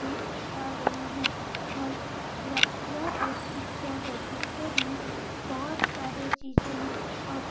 रहे हैं और यह यह एक पिक्चर है पिक्चर में बहुत सारी चींज है और --